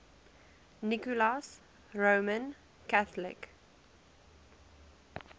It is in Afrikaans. nicholas roman catholic